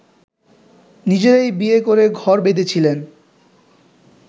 নিজেরাই বিয়ে করে ঘর বেঁধেছিলেন